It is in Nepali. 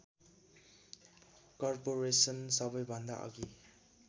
कर्पोरेसन सबैभन्दा अघि